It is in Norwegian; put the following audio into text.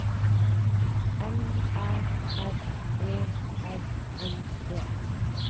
L Æ R E R N E